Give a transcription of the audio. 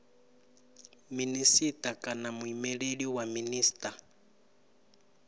minisita kana muimeleli wa minisita